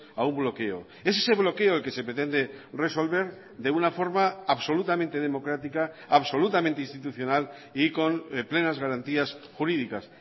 a un bloqueo es ese bloqueo el que se pretende resolver de una forma absolutamente democrática absolutamente institucional y con plenas garantías jurídicas